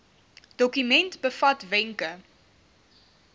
dokument bevat wenke